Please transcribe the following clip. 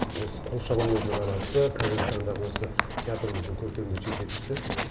осы қуыршақ өнерінің анасы қазіргі таңдағы осы театрымыздың көркемдік жетекшісі